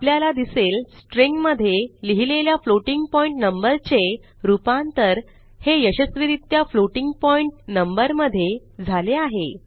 आपल्याला दिसेल स्ट्रिंग मधे लिहिलेल्या फ्लोटिंग पॉइंट नंबर चे रूपांतर हे यशस्वीरित्या फ्लोटिंग पॉइंट नंबर मधे झाले आहे